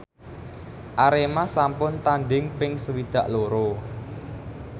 Arema sampun tandhing ping swidak loro